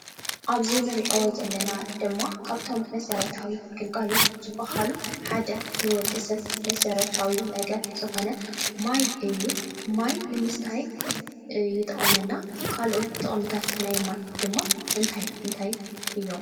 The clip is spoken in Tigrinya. ኣብዚ እንሪኦ ዘለና ድማ ካብቶም መሰረታዊ ግልጋሎት ዝበሃሉሓደ ንወዲሰብ መሰረታዊ ነገር ዝኮነ ማይ እዩ። ማይ ንምስታይ ይጠቅመና። ካሎኦት ጥቅምታት ናይ ማይ ድማ እንታይ እንታይ እዮም?